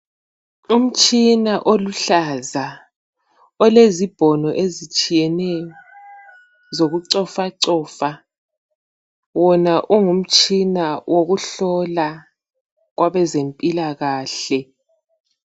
Umtshina oluhlaza olezibhono ezitshiyeneyo zokucofacofa, wona ungumtshina wokuhlola kwabezempilakahle.